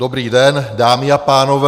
Dobrý den, dámy a pánové.